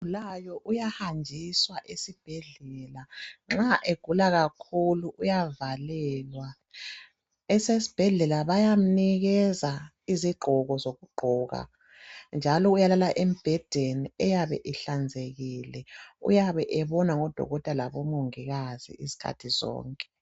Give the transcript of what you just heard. Ogulayo uyahanjiswa esibhedlela nxa egula kakhulu uyavalelwa .Esesbhedlela bayamnikeza izigqoko zokugqoka njalo uyalala embhedeni eyabe ihlanzekile uyabe ebonwa ngodokotela labomongikazi iskhathi sonke .